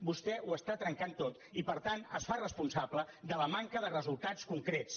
vostè ho està trencant tot i per tant es fa responsable de la manca de resultats concrets